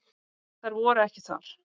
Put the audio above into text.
Þær voru ekki þar.